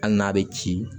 Hali n'a bɛ ci